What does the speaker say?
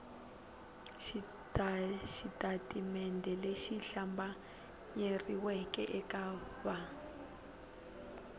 xitatimende lexi hlambanyeriweke eka va